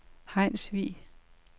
Hejnsvig